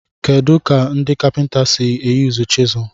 Kedu ka ndị kapinta si eyuzu chiselu?